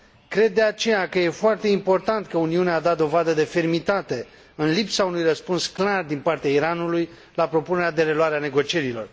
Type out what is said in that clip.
Cred, de aceea, că e foarte important că Uniunea a dat dovadă de fermitate, în lipsa unui răspuns clar din partea Iranului la propunerea de reluare a negocierilor.